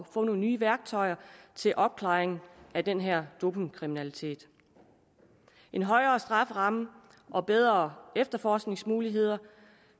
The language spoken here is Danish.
få nogle nye værktøjer til opklaring af den her dopingkriminalitet en højere strafferamme og bedre efterforskningsmuligheder